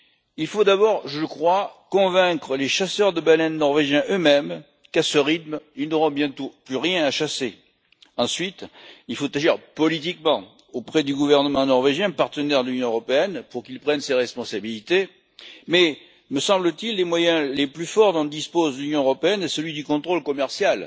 Il faut d'abord convaincre les chasseurs de baleines norvégiens eux mêmes qu'à ce rythme, ils n'auront bientôt plus rien à chasser. Ensuite, il faut agir politiquement auprès du gouvernement norvégien, partenaire de l'Union européenne, pour qu'il prenne ses responsabilités, mais me semble t il le moyen le plus fort dont dispose l'Union européenne est celui du contrôle commercial.